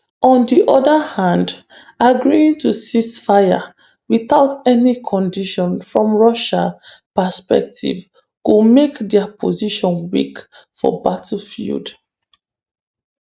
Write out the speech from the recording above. on di oda hand agreeing to ceasefire without any condition from russia perspective go make dia position weak for battlefield